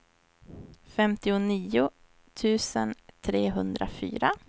femtionio tusen trehundrafyra